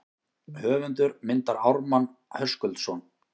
Höfundur myndar Ármann Höskuldsson.